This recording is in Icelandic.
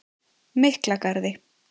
Miklagarði